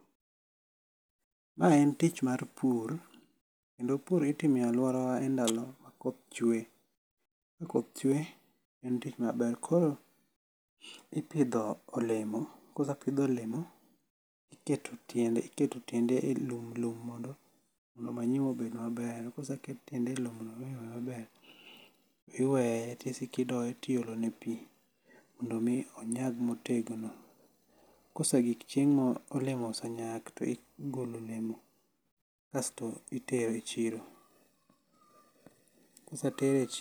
Ma en tich mar pur kendo pur itimo e aluorawa endalo ma koth chwe. Ka koth chwe en tich maber. Koro ipidho olemo, kosepidh olemo, iketo tiende elo mondo manyiwa obed maber, koseket tiende elowo mondo manyiwa obed maber, iweye to osiko odoye to iolo ne pi mondo mi onyag motegno. Kosegik chieng' ma olemo osenyak, to igolo olemo kasto itero e chiro.